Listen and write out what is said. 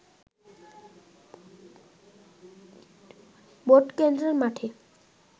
ভোটকেন্দ্রের মাটে